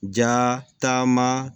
Ja taama